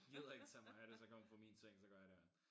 Gider ikke tage mig af det så kan hun få min seng så går jeg derind